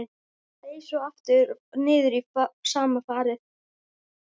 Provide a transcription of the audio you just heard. Seig svo aftur niður í sama farið.